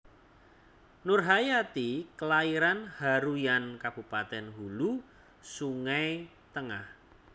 Nurhayati klairan Haruyan Kabupatèn Hulu Sungai Tengah